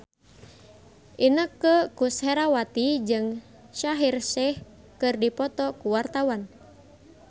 Inneke Koesherawati jeung Shaheer Sheikh keur dipoto ku wartawan